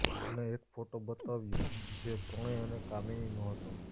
અને એક ફોટો બતાવ્યો જે પ્રણય અને કામીનીનો હતો